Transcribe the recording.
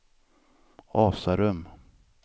Asarum